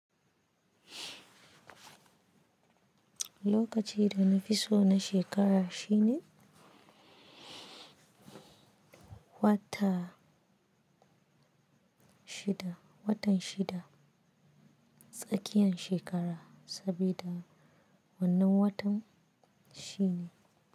Lokaci da na fi so na shekara shine wata shida, watan shida, tsakiyan shekara sabida wannan watan shine.